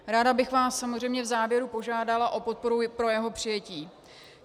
Ráda bych vás samozřejmě v závěru požádala o podporu pro jeho přijetí.